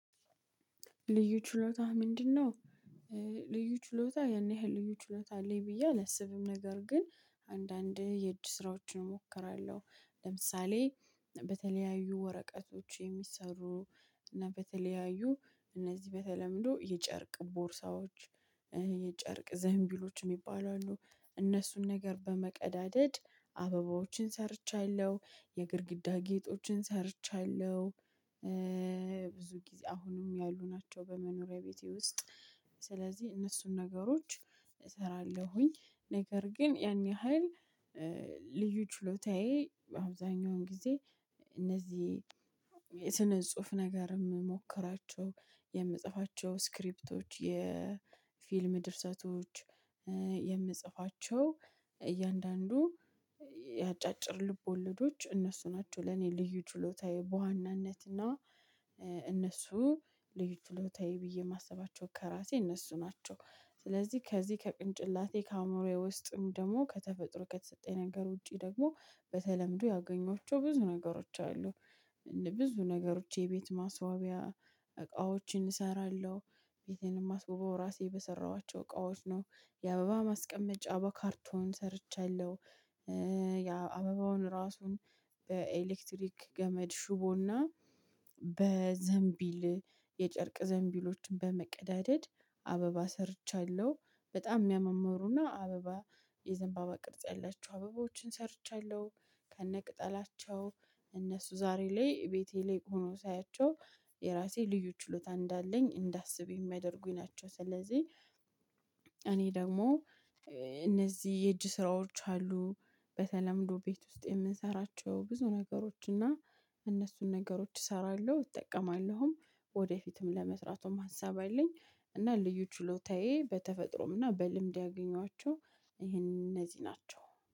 ልዩ ችሎታ ምንድነው? ልዩ ችሎታ ያን ያህል ልዩ ችሎታ አለኝ ብዬ አልአላብም ነገር ግን አንዳንዴ የእጅ ስራዎችን እሞክራለሁ። ለምሳሌ በተለያዩ ወረቀቶች የሚሰሩ እና በተለያዩ እነዚህ በተለምዶ የጨርቅ ቦርሳዎች። ዘምቢሎች የሚባሉ አሉ። እነሱን ነገር በመቀዳደድ አበባዎችን ሰርቻለሁ የግድግዳ ጌጦችን ሰርቻለሁ። ብዙ ጊዜ አሁንም ያሉ ናቸው በመኖሪያ ቤቴ ውስጥ። ስለዚህ እነሱን ነገሮች እሰራለሁኝ። ነገር ግን ያን ያህል ልዩ ችሎታዬ አብዛኛውን ጊዜ። እነዚህ ስነ ጽሁፍ ነገር የምሞክራቸው የምጽፋቸው ስክሪፕቶች የፊልም ድርሰቶች። የምጽፋቸው እያንዳንዱ የአጫጭር ልቦለዶች እነሱ ናቸው ለኔ ልዩ ችሎታዬ በዋናነት እና። እነሱ ልዩ ችሎታዬ ብዬ የማስባቸው ከራሴ እነሱ ናቸው። ስለዚህ ከዚህ ከቅንጭላቴ ከአእምሮዬ ውስጥም ደግሞ ከተፈጥሮ ከተሰጠኝ ነገር ውጪ ደግሞ በተለምዶ ያገኘዋቸው ብዙ ነገሮች አሉ። ብዙ ነገሮች የቤት ማስዋቢያ እቃዎችን እሰራለሁ። ቤቴን የማስውበው ራሴ በሰራኋቸው እቃዎች ነው። የአበባ ማስቀመጫ በካርቶን ሰርቻለሁ። የአበባውን ራሱን በኤሌክትሪክ ገመድ ሽቦ እና በዘንቢል የጨርቅ ዘንቢሎችን በመቀዳደድ አበባ ሰርቻለሁ። በጣም የሚያማምሩና አበባ የዘንባባ ቅርጽ ያለችው አበቦችን ሰርቻለሁ። ከነቅጠላቸው እነሱ ዛሬ ላይ ቤቴ ላይ ሆኖ ሳያቸው የራሴ ልዩ ችሎታ እንዳለኝ እንዳስብ የሚያደርጉኝ ናቸው። ስለዚህ ደግሞ እነዚህ የእጅ ስራዎች አሉ። በተለምዶ ቤት ውስጥ የምንሰራቸው ብዙ ነገሮች እና እነሱን ነገሮች እሰራለሁ እጠቀማለሁም። ወደፊትም ለመስራቱም ሀሳብ አለኝ። እና ልዩ ችሎታዬ በተፈጥሮም እና በልምድ ያገኟቸው ይሄን እነዚህ ናቸው